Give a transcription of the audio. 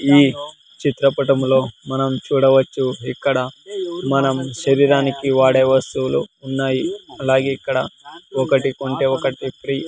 ఈ చిత్రపటంలో మనం చూడవచ్చు ఇక్కడ మనం శరీరానికి వాడే వస్తువులు ఉన్నాయి అలాగే ఇక్కడ ఒకటి కొంటే ఒకటి ఫ్రీ .